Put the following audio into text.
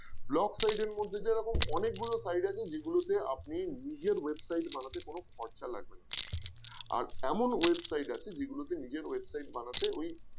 Blog site এর মধ্যে যেরকম অনেক গুলো site আছে যেগুলোতে আপনি নিজের website বানাতে কোন খরচা লাগবে না আর এমন website আছে যেগুলোতে নিজের website বানাতে ওই